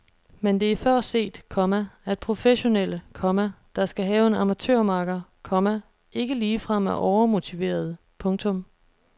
Men det er før set, komma at professionelle, komma der skal have en amatørmakker, komma ikke ligefrem er overmotiverede. punktum